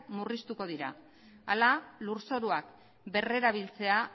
murriztuko dira hala lurzoruak berrerabiltzea